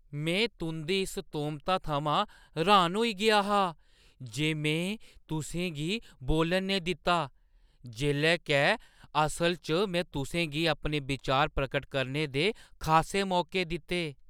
में तुंʼदी इस तोह्‌मता थमां र्‌हान होई गेआ हा जे में तुसें गी बोलन नेईं दित्ता, जेल्लै के असलै च में तुसें गी अपने विचार प्रगट करने दे खासे मौके दित्ते।